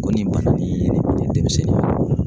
Ko nin bana nin ye ne demisɛnnin